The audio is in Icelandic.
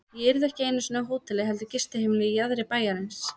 Ég yrði ekki einu sinni á hóteli heldur gistiheimili í jaðri bæjarins.